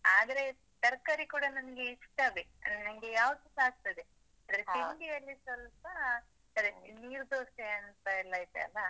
ಆದ್ರೆ ತರ್ಕಾರಿ ಕೂಡ ನಂಗೆ ಇಷ್ಟವೇ, ನಂಗೆ ಯಾವುದುಸ ಆಗ್ತದೆ. ಅಂದ್ರೆ ತಿಂಡಿಯಲ್ಲಿ ಸ್ವಲ್ಪ ಅದೇ ನೀರ್ದೋಸೆ ಅಂತ ಎಲ್ಲ ಇದೆ ಅಲ್ಲಾ?